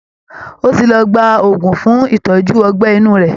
Ó ti lọ gba òògùn fún ìtọ́jú ọgbẹ́ inú rẹ̀